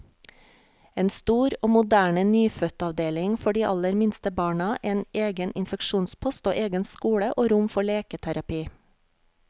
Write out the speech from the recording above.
En stor og moderne nyfødtavdeling for de aller minste barna, en egen infeksjonspost, og egen skole og rom for leketerapi.